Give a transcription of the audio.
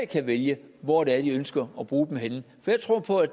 kan vælge hvor de ønsker at bruge henne for jeg tror på at